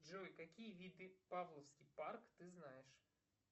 джой какие виды павловский парк ты знаешь